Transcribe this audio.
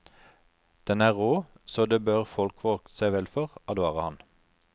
Den er rå, så det bør folk vokte seg vel for, advarer han.